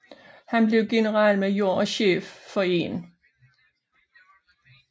Han blev generalmajor og chef for 1